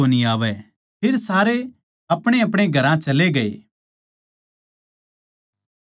फेर सारे अपणेअपणे घरां चले गए